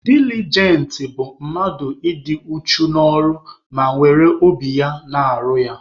Dilijent bụ mmadụ ị dị uchu n'ọrụ ma were obi ya na-arụ ya.